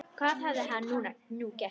Hvað hafði hann nú gert?